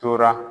Tora